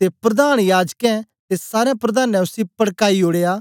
ते प्रधान याजकें ते सारें प्रधानें उसी पड़काई ओड़या